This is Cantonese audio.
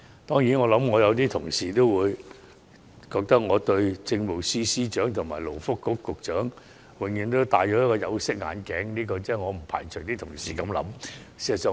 當然，有些同事會認為，我對政務司司長和勞工及福利局局長總是戴着有色眼鏡，我不排除同事有這種想法。